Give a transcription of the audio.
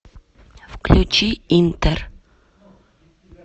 включи интер